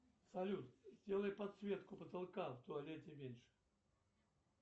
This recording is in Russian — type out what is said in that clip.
салют сделай подсветку потолка в туалете меньше